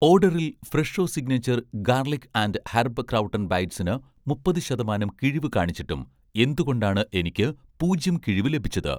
ഓഡറിൽ 'Fresho signature' garlic and herb crouton ബൈറ്റ്സിന് മുപ്പത് ശതമാനം കിഴിവ് കാണിച്ചിട്ടും എന്തുകൊണ്ടാണ് എനിക്ക് പൂജ്യം കിഴിവ് ലഭിച്ചത്?